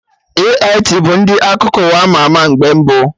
AIT bụ ndị akụkọ ụwa ama ama mgbe mbụ